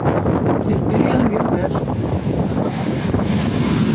Þeir byrjuðu mjög vel og þeir geta þetta alveg.